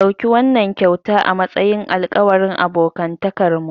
Ɗauki wannan kyauta a matsayin alƙawarin abokantakarmu.